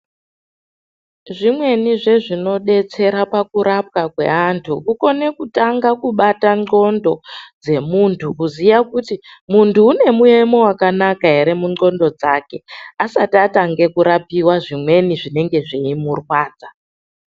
Zvimweni zvinodetsera pakurapwa kweantu kukone kutanga kubata nxondo dzemuntu, kuziye kuti muntu ane muemo wakanaka here munghlondo dzake asati atange kurapiwa zvimweni zvinenge zvichimurwadza.